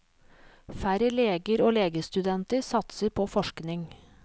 Færre leger og legestudenter satser på forskning.